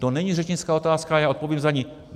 To není řečnická otázka, já odpovím za ni.